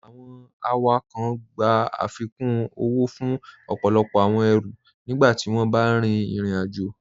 Awọn awakọń gbà afíkún owó fún ọpọlọpọ awọn èrú nígbàtí wọn bá rín ìrìn-àjọ.